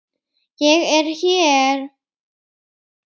ÉG ER HÉR!